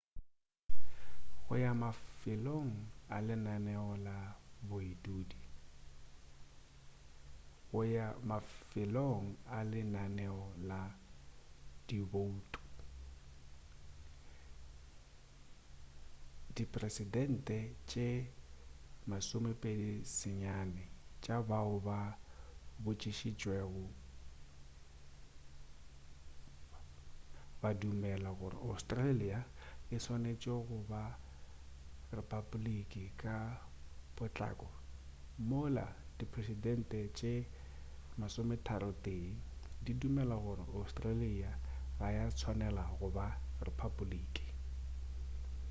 go ya mafelelong a lenaneo la diboutu diperesente tše 29 tša bao ba botšišitšwego badumela gore australia e swanetše go ba repaboleki ka potlako mola diperesente tše 31 di dumela gore australia ga ya swanela go ba repaboleki